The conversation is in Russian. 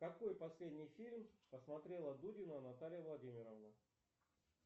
какой последний фильм посмотрела дудина наталья владимировна